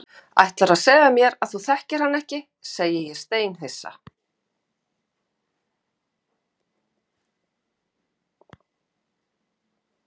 Ætlarðu að segja mér að þú þekkir hana ekki, segi ég steinhissa.